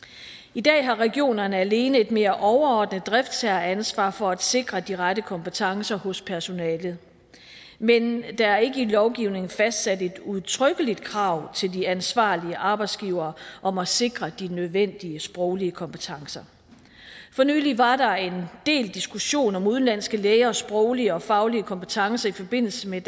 i dag har regionerne alene et mere overordnet driftsherreansvar for at sikre de rette kompetencer hos personalet men der er ikke i lovgivningen fastsat et udtrykkeligt krav til de ansvarlige arbejdsgivere om at sikre de nødvendige sproglige kompetencer for nylig var der en del diskussion om udenlandske lægers sproglige og faglige kompetencer i forbindelse med